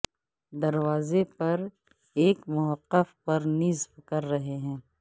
دروازے پر ایک موقف پر نصب کر رہے ہیں